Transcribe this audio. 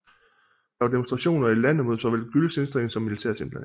Der var demonstrationer i landet mod såvel Güls indstilling som militærets indblanding